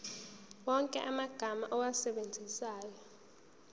wonke amagama owasebenzisayo